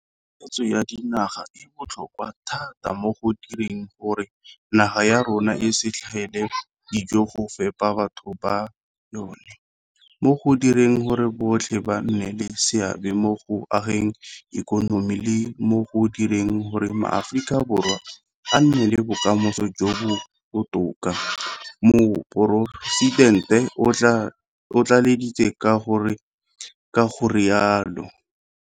Pusetso ya dinaga e botlhokwa thata mo go direng gore naga ya rona e se tlhaele dijo go fepa batho ba yona, mo go direng gore botlhe ba nne le seabe mo go ageng ikonomi, le mo go direng gore maAforika Borwa a nne le bokamoso jo bo botoka, Moporesitente o tlaleleditse ka go rialo.